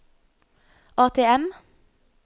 ATM